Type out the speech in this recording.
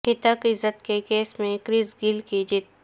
ہتک عزت کے کیس میں کرس گیل کی جیت